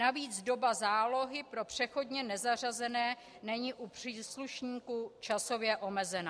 Navíc doba zálohy pro přechodně nezařazené není u příslušníků časově omezena.